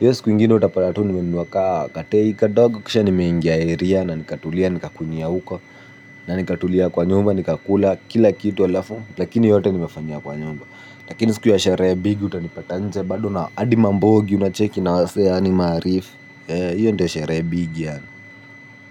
hiyo siku ingine utapata tu nimenunua ka kateika kadogo kisha nimeingia area na nikatulia, nikakunywia huko na nikatulia kwa nyumba, nikakula, kila kitu alafu lakini yote nimefanyia kwa nyumba. Lakini siku ya sherehe big utanipata nje. Bado na adi mambogi, unacheki, na wasee yani maarifu hiyo ndo sherehe big yaan.